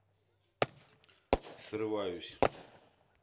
срываюсь